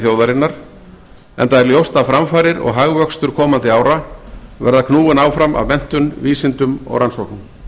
þjóðarinnar enda er ljóst að framfarir og hagvöxtur komandi ára verða knúin áfram af menntun vísindum og rannsóknum